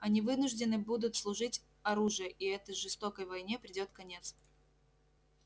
они вынуждены будут служить оружие и этой жестокой войне придёт конец